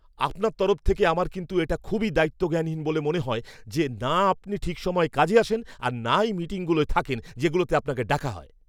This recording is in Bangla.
আপনার তরফ থেকে আমার কিন্তু এটা খুবই দায়িত্বজ্ঞানহীন বলে মনে হয় যে, না আপনি ঠিক সময় কাজে আসেন আর নাই মিটিংগুলোয় থাকেন যেগুলোতে আপনাকে ডাকা হয়।